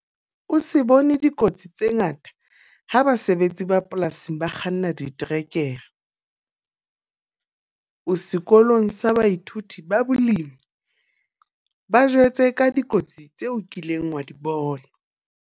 O se bone dikotsi tse ngata ha basebetsi ba polasing ba kganna diterekere. O sekolong sa baithuti ba balemi, ba jwetse ka dikotsi tseo o kileng wa di bona.